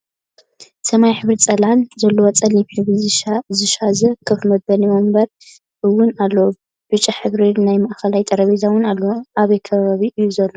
ሰማያዊ ሕብሪ ፅላል ዘለዎ ፀሊም ሕብሪ ዝሻዘ ከፍ መበሊ ወንበር እውን ኣሎ ብጫ ሕብሪ ናይ ማእከል ጠረጴዛ እውን ኣሎ። ኣበይ ከባቢ እዩ ዘሎ?